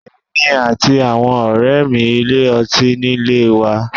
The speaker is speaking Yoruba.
Èmi àti àwọn ọ̀rẹ́ mi ilé ọtí nílé wa..